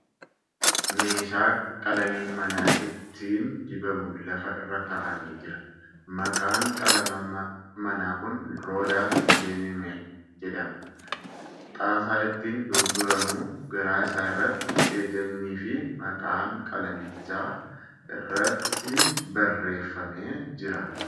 Meeshnaa qalamiin manaa ittiin dibaamu lafa irra kaa'amee jira . Maqaan qalama manaa kun ' Roodaas Iinaameel ' jedhama . Xaasaa ittiin gurguramu garaa isa irratti hajajnii fi maqaan qalamichaa irratti barreeffamee jira.